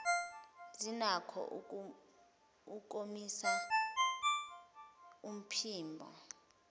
zinakho ukomisa umphimbo